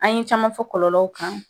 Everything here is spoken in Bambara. An ye caman fɔ kɔlɔlɔlaw kan